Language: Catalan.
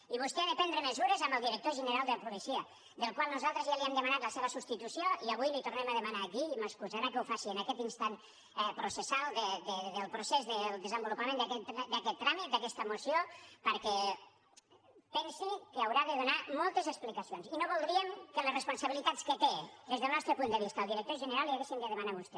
i vostè ha de prendre mesures amb el director general de la policia del qual nosaltres ja li hem demanat la seva substitució i avui la hi tornem a demanar aquí i m’excusarà que ho faci en aquest instant processal del procés del desenvolupament d’aquest tràmit d’aquesta moció perquè pensi que haurà de donar moltes explicacions i no voldríem que les responsabilitats que té des del nostre punt de vista el director general les haguéssim de demanar a vostè